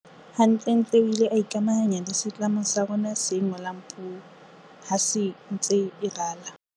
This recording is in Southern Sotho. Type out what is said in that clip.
Hantlentle o ile a ikamahanya le setlamo sa rona se ngolang puo ha se ntse e rala.